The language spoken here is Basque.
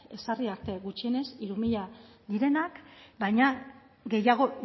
ezarri arte gutxienez hiru mila direnak baina gehiago